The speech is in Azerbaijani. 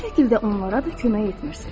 Bu şəkildə onlara da kömək etmirsiniz.